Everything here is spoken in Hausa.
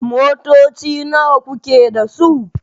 Motoci nawa kuke da su?